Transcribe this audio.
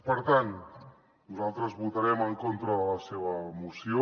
per tant nosaltres votarem en contra de la seva moció